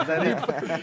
Bir yaş düzəldərik.